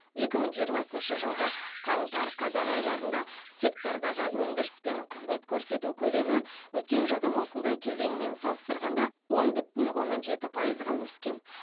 екі мың жиырмасыншы жылғы қаңтар қазан айларында сектордағы өндіріс пен қызмет көрсету көлемі өткен жылдың осындай кезеңімен салыстырғанда он бүтін оннан жеті пайызға өскен